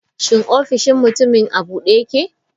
Shin ofishin mutumin a bude yake?